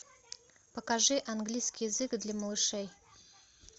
покажи английский язык для малышей